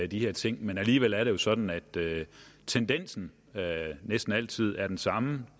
de her ting men alligevel er det jo sådan at tendensen næsten altid er den samme